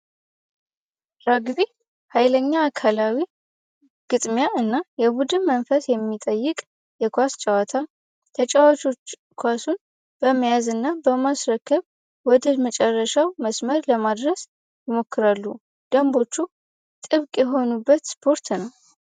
ረግቢ ኃይለኛ አካላዊ ግጥሚያ እና የቡድን መንፈስ የሚጠይቅ የኳስ ጨዋታ ተጫዋቾች ኳሱ በመያዝና በማስረክብ ወደ መጨረሻው መስመር ለማድረስ ይሞክራሉ ደንቦቹ የሆኑበት ስፖርት ነው።